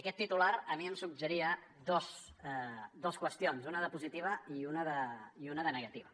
aquest titular a mi em suggeria dues qüestions una de positiva i una de negativa